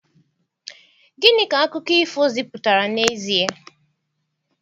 Gịnị ka akụkọ ifo zipụtara n'ezie?